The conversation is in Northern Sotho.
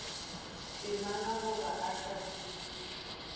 temana goba o sa fetišwe